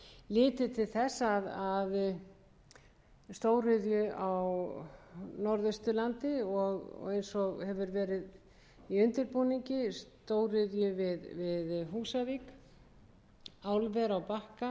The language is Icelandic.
er litið til stóðu á norðausturlandi og eins og hefur verið í undirbúningi stóriðju við húsavík álver á bakka eða aðra